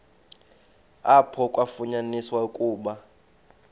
apho kwafunyaniswa ukuba